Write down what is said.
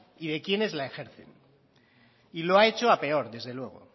y de quiénes la ejercen y lo ha hecho a peor desde luego